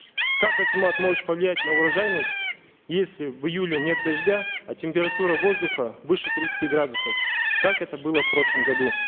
как акимат может повлиять на урожайность если в июле нет дождя а температура воздуха выше тридцати градусов как это было в прошлом году